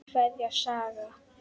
Kveðja, Saga.